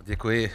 Děkuji.